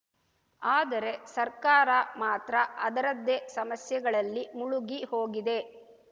ಆದರೆ ಸರ್ಕಾರ ಮಾತ್ರ ಅದರದ್ದೇ ಸಮಸ್ಯೆಗಳಲ್ಲಿ ಮುಳುಗಿ ಹೋಗಿದೆ